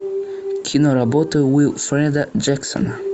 киноработы уилфреда джексона